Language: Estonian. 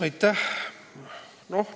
Aitäh!